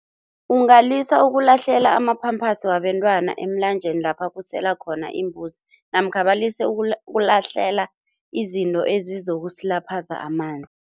Ungalisa ukulahlela ama-pampers wabentwana emlanjeni lapha kusela khona imbuzi namkha balise ukulahlela izinto ezizokusilaphaza amanzi.